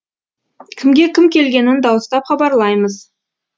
кімге кім келгенін дауыстап хабарлаймыз